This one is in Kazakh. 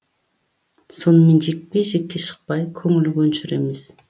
сонымен жекпе жекке шықпай көңілі көншір емес